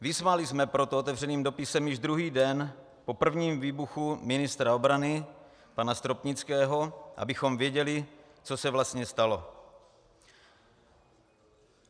Vyzvali jsme proto otevřeným dopisem již druhý den po prvním výbuchu ministra obrany pana Stropnického, abychom věděli, co se vlastně stalo.